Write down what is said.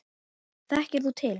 Þekkir þú til?